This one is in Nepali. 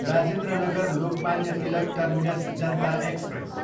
Rajendra Nagar, Lokmanya Tilak terminus Janata express